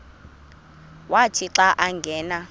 wathi xa angena